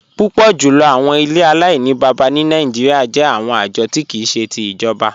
Púpọ̀ jùlọ̀ àwọn ilẹ̀ Aláìnìbábá ni Nàìjíríà jẹ̀ àwọn ajọ̀ ti kìí ṣe ti ijọ̀ba.